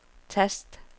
tast